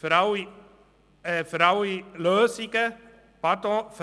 Pardon: Für